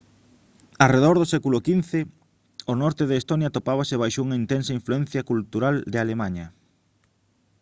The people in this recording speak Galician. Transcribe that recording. arredor do século xv o norte de estonia atopábase baixo unha intensa influencia cultural de alemaña